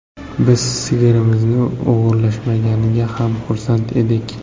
Biz sigirimizni o‘g‘irlashmaganiga ham xursand edik.